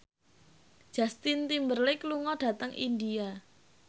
Justin Timberlake lunga dhateng India